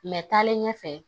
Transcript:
Mɛ taalen ɲɛfɛ